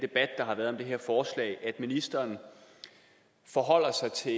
debat der har været om det her forslag at ministeren forholder sig til